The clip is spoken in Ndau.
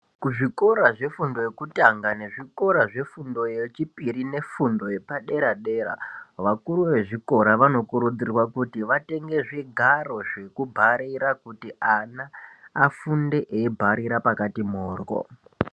Kuzvikora zvefundo yekutanga nekuzvikora zvefundo yechipiri nefondo yepadera dera vakuru vezvikora vanokurudzirwa kuti vatenge zvigaro zvekubharira kuti ana afunde eibharira pakati moryo.